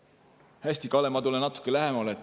Hästi, Kalle, ma tulen natuke lähemale.